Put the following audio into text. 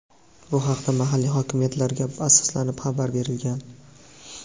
Bu haqda mahalliy hokimiyatlarga asoslanib xabar berilgan.